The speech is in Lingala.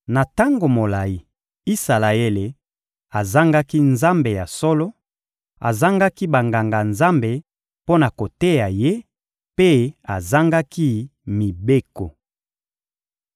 Na tango molayi, Isalaele azangaki Nzambe ya solo, azangaki Banganga-Nzambe mpo na koteya ye, mpe azangaki mibeko.